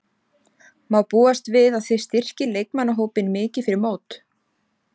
Má búast við að þið styrkið leikmannahópinn mikið fyrir mót?